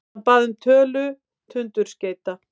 Hann bað um tölu tundurskeyta.